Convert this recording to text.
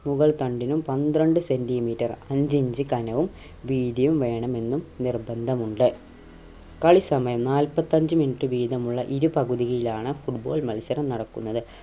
മുകൾ തണ്ടിനും പന്ത്രണ്ട് centimeter അഞ്ച് ഇഞ്ച് കനം വീതിയും വേണമെന്നും നിർബന്ധമുണ്ട് കളിസമയം നാൽപ്പത്തഞ്ച് minute വീതമുള്ള ഇരുപകുതിയിലാണ് football മത്സരം നടക്കുന്നത്